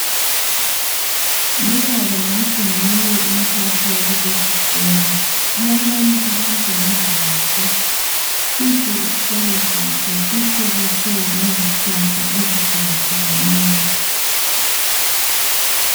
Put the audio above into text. Lubaba ngathi nguye umphathi wakulesisikolo kulabanye abantu ngemva kwakhe sihle isikolo sakhe sihlobiswe ngezihlahla ezihlukahlukeneyo.